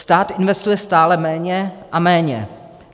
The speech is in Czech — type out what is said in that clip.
Stát investuje stále méně a méně.